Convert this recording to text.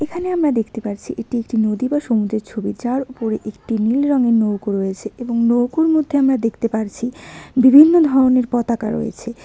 এখানে আমরা দেখতে পারছি এটি একটি নদী বা সমুদ্রের ছবি যার ওপরে একটি নীল রঙের নৌকো রয়েছে এবং নৌকোর মধ্যে আমরা দেখতে পারছি বিভিন্ন ধরনের পতাকা রয়েছে।